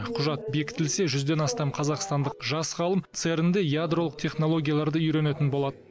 құжат бекітілсе жүзден астам қазақстандық жас ғалым церн де ядролық технологияларды үйренетін болады